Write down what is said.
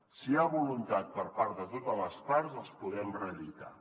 si hi ha voluntat per part de totes les parts els podem reeditar